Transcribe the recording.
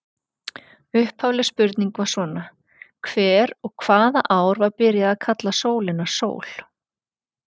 Upphafleg spurning var svona: Hver og hvaða ár var byrjað að kalla sólina sól?